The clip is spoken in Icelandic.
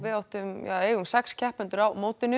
eigum sex keppendur á mótinu